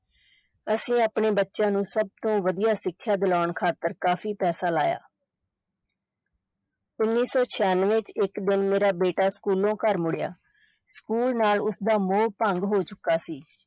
ਅਸੀਂ ਆਪਣੇ ਬੱਚਿਆਂ ਨੂੰ ਸਭ ਤੋਂ ਵਧੀਆ ਸਿੱਖਿਆ ਦਿਲਾਉਣ ਖਾਤਰ ਕਾਫ਼ੀ ਪੈਸਾ ਲਾਇਆ ਉੱਨੀ ਸੌ ਛਿਆਨਵੇਂ ਚ ਇਕ ਦਿਨ, ਮੇਰਾ ਬੇਟਾ ਸਕੂਲੋਂ ਘਰ ਮੁੜਿਆ, ਸਕੂਲ ਨਾਲ ਉਸ ਦਾ ਮੋਹ ਭੰਗ ਹੋ ਚੁੱਕਾ ਸੀ।